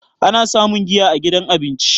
ana samun giya a gidan abinci